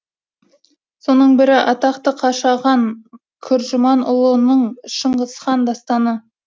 соның бірі атақты қашаған күржіманұлының шыңғыс хан дастаны